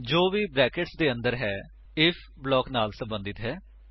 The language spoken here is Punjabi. ਜੋ ਵੀ ਬਰੈਕੇਟਸ ਦੇ ਅੰਦਰ ਹੈ ਆਈਐਫ ਬਲਾਕ ਨਾਲ ਸਬੰਧਤ ਹੈ